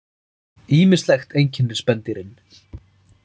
Ýmislegt einkennir spendýrin.